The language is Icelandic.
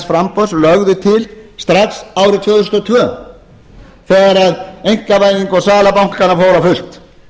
framboðs lögðu til strax árið tvö þúsund og tvö þegar einkavæðing og sala bankanna fór á fullt